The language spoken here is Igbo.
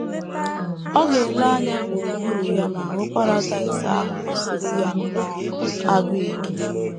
Ọ ga - ele anya gburugburu ya ma hụ Paradaịs ahụ gụsiri ya nnọọ agụụ ike....